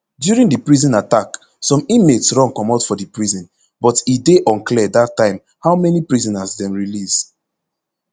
during di prison attack some inmates run comot for di prison but e dey unclear dat time how many prisoners dem release